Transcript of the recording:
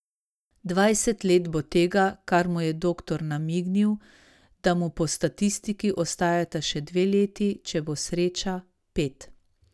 Dvajset let bo tega, kar mu je doktor namignil, da mu po statistiki ostajata še dve leti, če bo sreča, pet.